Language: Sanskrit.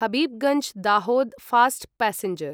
Habibganj Dahod fast passenger